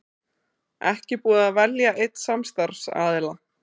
Ekki búið að velja einn samstarfsaðila